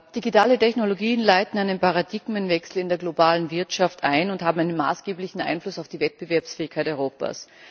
Digitale Technologien leiten einen Paradigmenwechsel in der globalen Wirtschaft ein und haben einen maßgeblichen Einfluss auf die Wettbewerbsfähigkeit Europas.